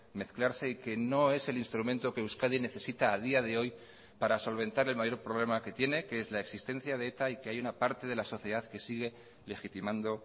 mezclarse y que no es el instrumento que euskadi necesita a día de hoy para solventar el mayor problema que tiene que es la existencia de eta y que hay una parte de la sociedad que sigue legitimando